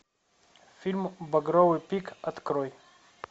фильм багровый пик открой